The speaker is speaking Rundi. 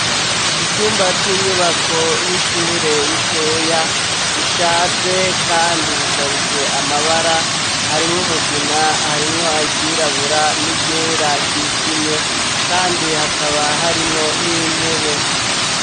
Icumba c'inyubako y'ishure ritoya rishaje kandi risharije amabara harimwo mugina, harimwo iryirabura n'iryera ryijimye kandi hakaba harimwo n'intebe.